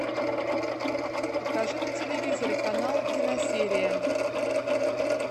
покажи на телевизоре канал киносерия